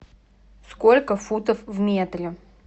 сколько футов в метре